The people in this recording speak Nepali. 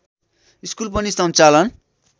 स्कुल पनि सञ्चालन